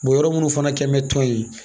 yɔrɔ minnu fana kɛn bɛ tɔn in ye